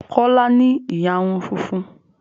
Kọ́lá ní ìyarun funfun